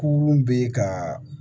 Kurun be ka